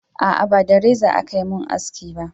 a'a ba da reza a Ka mun haski ba